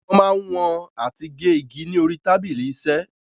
Wọ́n ma ń wọn àti gé igi ni orí tábìlì iṣẹ́.